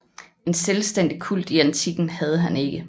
En selvstændig kult i antikken havde han ikke